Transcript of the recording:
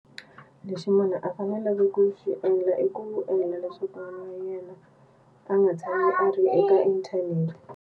Lexi munhu a faneleke ku xi endla i ku endlela leswaku n'wana wa yena a nga tshama a ri eka inthanete.